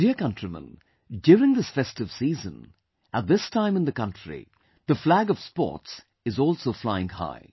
My dear countrymen, during this festive season, at this time in the country, the flag of sports is also flying high